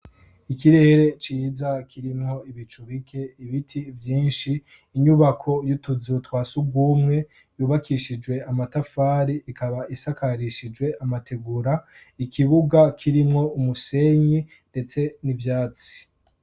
ikirere ciza kirimwo ibicubike ibiti byinshi inyubako y'utuzu twasugumwe yubakishijwe amatafari ikaba isakarishijwe amategura ikibuga kirimwo umusenyi ndetse n'ivyatsi